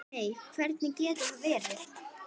Nei, hvernig getur það verið?